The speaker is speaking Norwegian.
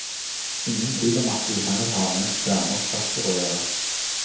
Ingen tvil om at vi her har med en særnorsk faktor å gjøre.